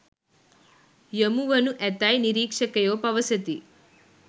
යොමු වනු ඇතැයි නිරීක්‍ෂකයෝ පවසති